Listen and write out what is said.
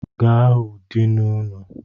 Gaa hụ dini unu!